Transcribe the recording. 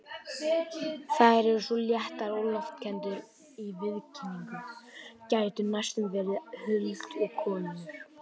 Þær eru svo léttar og loftkenndar í viðkynningu, gætu næstum verið huldukonur.